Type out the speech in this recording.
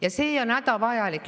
Aga see on hädavajalik.